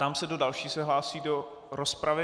Ptám se, kdo další se hlásí do rozpravy.